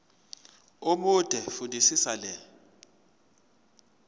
omude fundisisa le